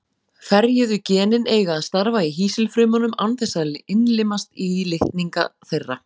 Ferjuðu genin eiga að starfa í hýsilfrumunum án þess að innlimast í litninga þeirra.